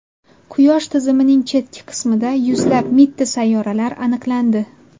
Quyosh tizimining chetki qismida yuzlab mitti sayyoralar aniqlandi.